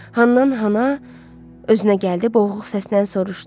Handan-hana özünə gəldi, boğuq səslə soruşdu: